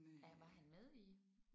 Er var han med i